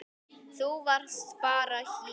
Þú varst bara hér.